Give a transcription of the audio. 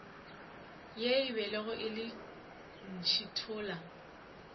ye e bego e ntšhithola